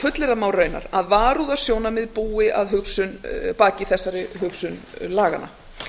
fullyrða má að varúðarsjónarmið búi að baki þessari hugsun laganna